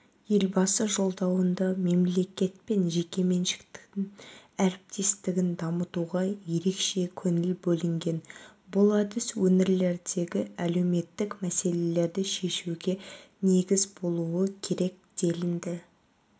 елбасы жолдауында мемлекет пен жекеменшіктің әріптестігін дамытуға ерекше көңіл бөлінген бұл әдіс өңірлердегі әлеуметтік мәселелерді шешуге негіз болуы керек делінді